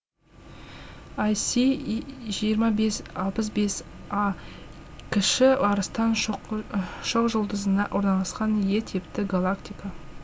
іс жиырма бес алпыс бес а кіші арыстан шоқжұлдызында орналасқан е типті галактика